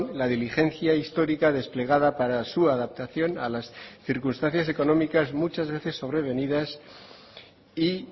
la diligencia histórica desplegada para su adaptación a las circunstancias económicas muchas veces sobrevenidas y